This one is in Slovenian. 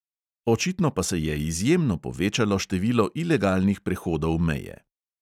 Očitno pa se je izjemno povečalo število ilegalnih prehodov meje.